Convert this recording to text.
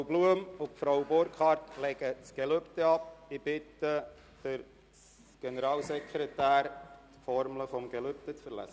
Ichwünsche Frau Blum und Frau Burkhard gute Geschäfte und alles Gute und heisse sie im Grossen Rat herzlich willkommen.